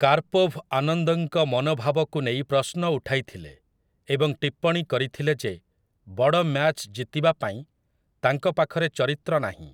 Karpov ଆନନ୍ଦଙ୍କ ମନୋଭାବକୁ ନେଇ ପ୍ରଶ୍ନ ଉଠାଇଥିଲେ ଏବଂ ଟିପ୍ପଣୀ କରିଥିଲେ ଯେ ବଡ଼ ମ୍ୟାଚ୍ ଜିତିବା ପାଇଁ ତାଙ୍କ ପାଖରେ ଚରିତ୍ର ନାହିଁ ।